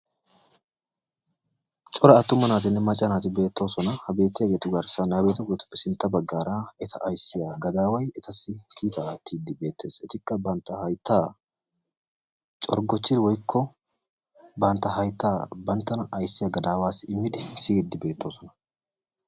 Cora attumanne macca naati beettoosona. Ha bettiyageetu garssan sintta ha bettiyageetuppe sintta baggaara eta ayssiya gadaaway etassi kiitaa aattidi bettees, etikka banttaa hayttaa coggochchidi woykko banttaa hayttaa banttana ayssi gadaawassi immidi siidi beettoosona.